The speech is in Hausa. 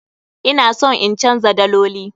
Ina son in canza daloli.